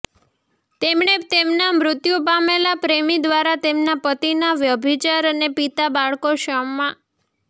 તેમણે તેમના મૃત્યુ પામેલા પ્રેમી દ્વારા તેમના પતિના વ્યભિચાર અને પિતા બાળકો ક્ષમા